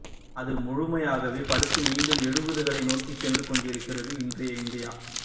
அது முழுமையாகவே படுத்து மீண்டும் எழுபதுகளை நோக்கிச் சென்றுகொண்டிருக்கிறது இன்றைய இந்தியா